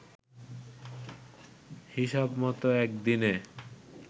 হিসাব মত একদিনে